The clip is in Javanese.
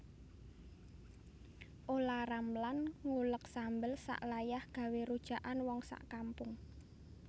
Olla Ramlan ngulek sambel sak layah gawe rujakan wong sak kampung